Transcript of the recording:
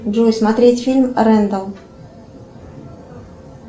джой смотреть фильм рендель